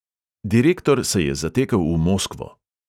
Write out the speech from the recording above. Direktor se je zatekel v moskvo.